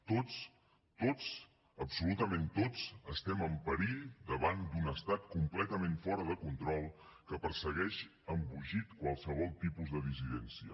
tots tots absolutament tots estem en perill davant d’un estat completament fora de control que persegueix embogit qualsevol tipus de dissidència